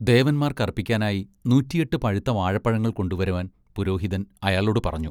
ദേവന്മാർക്കർപ്പിക്കാനായി നൂറ്റിയെട്ട് പഴുത്ത വാഴപ്പഴങ്ങൾ കൊണ്ടുവരുവാൻ പുരോഹിതൻ അയാളോട് പറഞ്ഞു.